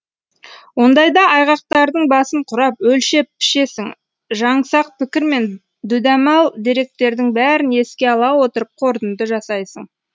ондайда айғақтардың басын құрап өлшеп пішесің жаңсақ пікір мен дүдәмал деректердің бәрін еске ала отырып қорытынды жасайсың